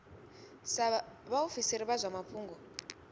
sa vhaofisiri vha zwa mafhungo